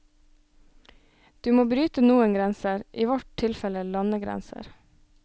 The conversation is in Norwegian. Du må bryte noen grenser, i vårt tilfelle landegrenser.